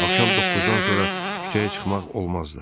Axşam doqquzdan sonra küçəyə çıxmaq olmazdı.